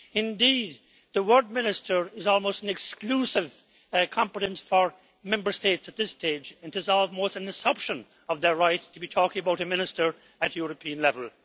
Indeed, the word minister' is almost an exclusive competence for Member States at this stage, and it is almost an usurpation of their right to be talking about a minister at European level.